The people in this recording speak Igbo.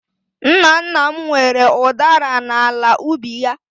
Nna nna m nwere udara n'ala ubi ya.